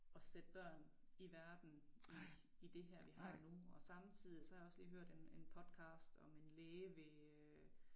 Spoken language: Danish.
At sætte børn i verden i i det her vi har nu og samtidig så har jeg også lige hørt en en podcast om en læge ved øh